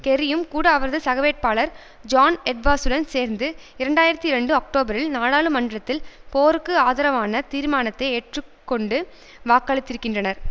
கெர்ரியும் கூட அவரது சகவேட்பாளர் ஜான் எட்வார்ஸுடன் சேர்ந்து இரண்டாயிரத்தி ரெண்டு அக்டோபரில் நாடாளுமன்றத்தில் போருக்கு ஆதரவான தீர்மானத்தை ஏற்றுக்கொண்டு வாக்களித்திருக்கின்றனர்